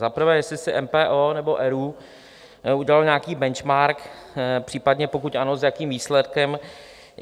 Za prvé, jestli si MPO nebo ERÚ udělaly nějaký benchmark, případně pokud ano, s jakým výsledkem.